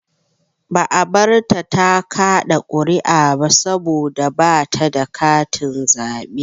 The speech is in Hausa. Ba a barta ta kaɗa ƙuri'a ba saboda ba ta da katin zaɓe.